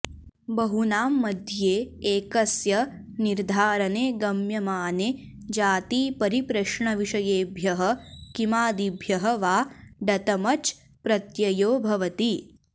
बहुनां मध्ये एकस्य निर्धारने गम्यमाने जातिपरिप्रश्नविषयेभ्यः किमादिभ्यः वा डतमच् प्रत्ययो भवति